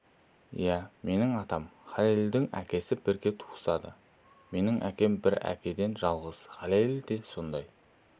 иә менің атам мен халелдің әкесі бірге туысады менің әкем бір әкеден жалғыз халел де солай